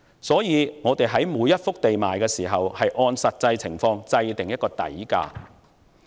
因此，我們在出售每一幅土地時，應按實際情況設定某一個數額的底價。